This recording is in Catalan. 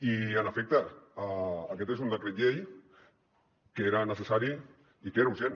i en efecte aquest és un decret llei que era necessari i que era urgent